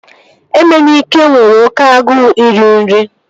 Emenike nwere oké agụụ iri nri